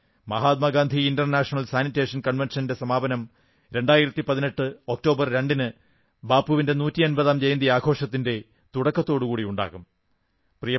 Mahatma Gandhi international sanitation കൺവെൻഷന്റെ സമാപനം 2018 October 2 ന് ബാപ്പുവിന്റെ നൂറ്റമ്പതാം ജയന്തി ആഘോഷത്തിന്റെ തുടക്കത്തോടുകൂടി ഉണ്ടാകും